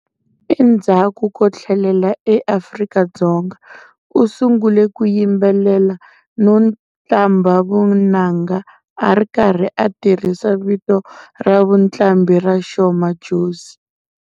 Endzhaku ko thlelela eAfrika-Dzonga, u sungule ku yimbelela no qambha vunanga a ri karhi a tirhisa vito ra vuqambhi ra"Sho Madjozi".